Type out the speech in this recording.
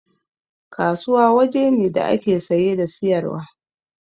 Kasuwa waje ne da ake saye da siyarwa